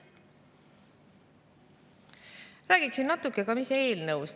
Räägin natuke ka sellest, mis on selles eelnõus.